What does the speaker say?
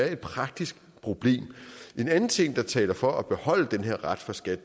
er et praktisk problem en anden ting der taler for at beholde den her ret for skat